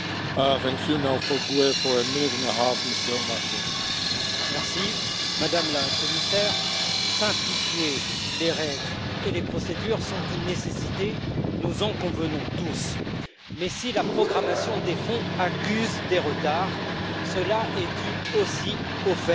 Monsieur le Président, Madame la Commissaire, simplifier les règles et les procédures est une nécessité. Nous en convenons tous. Mais si la programmation des fonds accuse des retards, cela est dû aussi au fait